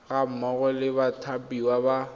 ga mmogo le bathapiwa ba